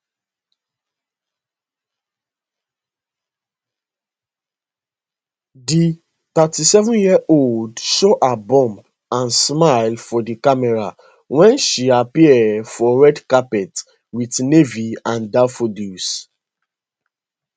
di 37yearold show her bump and smile for di cameras wen she appear for red carpet wit navy and daffodils